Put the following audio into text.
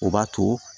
O b'a to